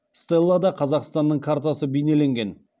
стеллада қазақстанның картасы бейнеленген